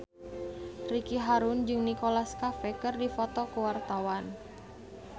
Ricky Harun jeung Nicholas Cafe keur dipoto ku wartawan